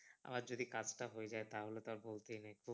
আবার যদি কাজটা হয়ে যাই তাহলে তো আর বলতেই নেই